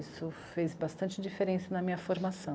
Isso fez bastante diferença na minha formação.